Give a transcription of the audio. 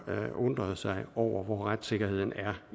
undret sig over hvor retssikkerheden er